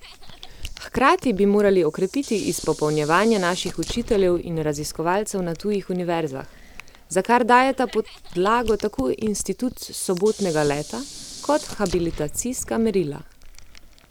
Hkrati bi morali okrepiti izpopolnjevanje naših učiteljev in raziskovalcev na tujih univerzah, za kar dajeta podlago tako institut sobotnega leta kot habilitacijska merila.